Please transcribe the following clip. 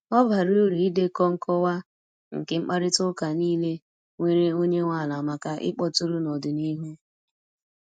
Ọ bara uru idekọ nkọwa nke mkparịta ụka niile nwere onye nwe ala maka ịkpọtụrụ n’ọdịnihu.